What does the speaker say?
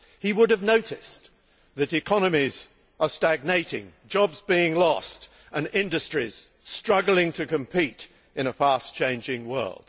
He would have noticed that economies are stagnating, jobs are being lost and industries struggling to compete in a fast changing world.